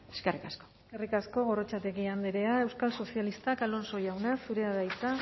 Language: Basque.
eskerrik asko eskerrik asko gorrotxategi andrea euskal sozialistak alonso jauna zurea da hitza